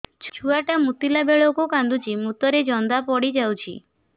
ଛୁଆ ଟା ମୁତିଲା ବେଳକୁ କାନ୍ଦୁଚି ମୁତ ରେ ଜନ୍ଦା ପଡ଼ି ଯାଉଛି